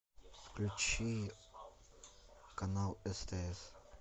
включи канал стс